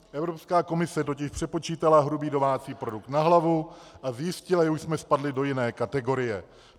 Evropská komise totiž přepočítala hrubý domácí produkt na hlavu a zjistila, že už jsme spadli do jiné kategorie.